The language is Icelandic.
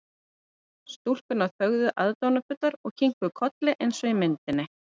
Stúlkurnar þögðu aðdáunarfullar og kinkuðu kolli eins og í myndinni.